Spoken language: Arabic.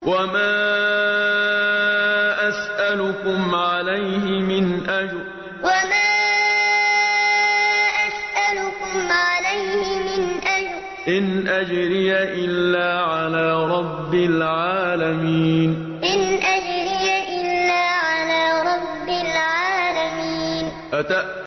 وَمَا أَسْأَلُكُمْ عَلَيْهِ مِنْ أَجْرٍ ۖ إِنْ أَجْرِيَ إِلَّا عَلَىٰ رَبِّ الْعَالَمِينَ وَمَا أَسْأَلُكُمْ عَلَيْهِ مِنْ أَجْرٍ ۖ إِنْ أَجْرِيَ إِلَّا عَلَىٰ رَبِّ الْعَالَمِينَ